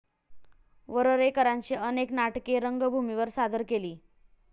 वरेरकरांची अनेक नाटके रंगभूमीवर सादर केली.